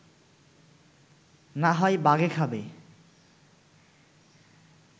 না হয় বাঘে খাবে